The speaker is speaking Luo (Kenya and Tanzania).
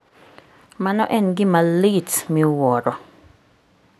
Mano en gima lit miwuoro.